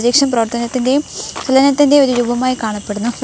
ഏകദേശം പ്രവർത്തനത്തിൻ്റെയും ചലനത്തിൻ്റെയും ഒരു രൂപമായി കാണപ്പെടുന്നു.